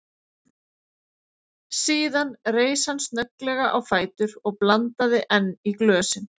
Síðan reis hann snögglega á fætur og blandaði enn í glösin.